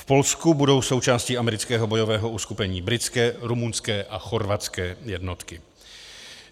V Polsku budou součástí amerického bojového uskupení britské, rumunské a chorvatské jednotky.